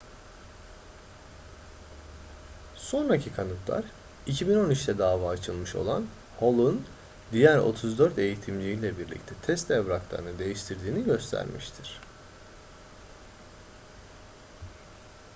sonraki kanıtlar 2013'te dava açılmış olan hall'un diğer 34 eğitimciyle birlikte test evraklarını değiştirdiğini göstermiştir